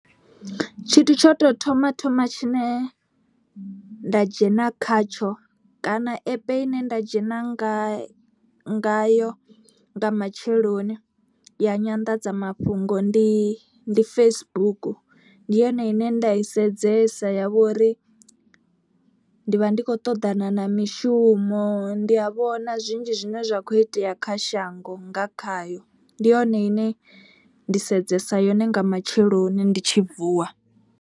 Tshithu tsho to thoma thoma tshine nda dzhena khatsho kana app ine nda dzhena nga ngayo nga matsheloni ya nyanḓadzamafhungo. Ndi Facebook ndi yone ine nda i sedzesa ya vhori ndi vha ndi khou ṱoḓana na mishumo. Ndi a vhona zwinzhi zwine zwa kho itea kha shango nga khayo. Ndi yone ine ndi sedzesa yone nga matsheloni ndi tshi vuwa.